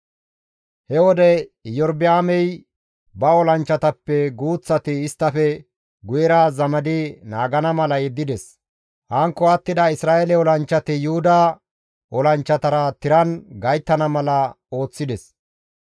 He wode Iyorba7aamey ba olanchchatappe guuththati isttafe guyera zamadi naagana mala yeddides. Hankko attida Isra7eele olanchchati Yuhuda olanchchatara tiran gayttana mala ooththides.